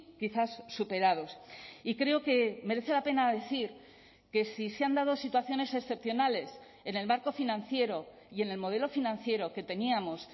quizás superados y creo que merece la pena decir que sí se han dado situaciones excepcionales en el marco financiero y en el modelo financiero que teníamos